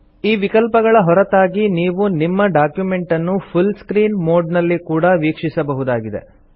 ಈ ವಿಕಲ್ಪಗಳ ಹೊರತಾಗಿ ನೀವು ನಿಮ್ಮ ಡಾಕ್ಯುಮೆಂಟನ್ನು ಫುಲ್ ಸ್ಕ್ರೀನ್ ಮೊಡ್ ನಲ್ಲಿ ಕೂಡಾ ವೀಕ್ಷಿಸಬಹುದಾಗಿದೆ